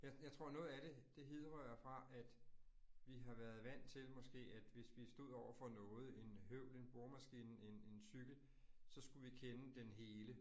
Jeg jeg tror noget af det, det hidrører fra, at vi har været vant til måske, at hvis vi stod overfor noget, en høvl, en boremaskine, en en cykel, så skulle vi kende den hele